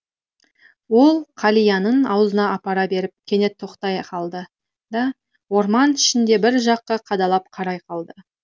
ол қалиянын аузына апара беріп кенет тоқтай қалды да орман ішінде бір жаққа қадалып қарай қалды